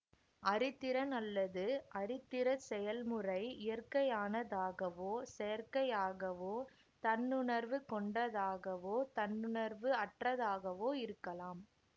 அறிதிறன் அல்லது அறிதிறச் செயல்முறை இயற்கையானதாகவோ செயற்கையாகவோ தன்னுணர்வு கொண்டதாகவோ தன்னுணர்வு அற்றதாகவோ இருக்கலாம்